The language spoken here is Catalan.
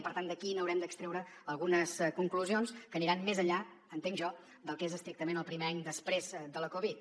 i per tant d’aquí n’haurem d’extreure algunes conclusions que aniran més enllà entenc jo del que és estrictament el primer any després de la covid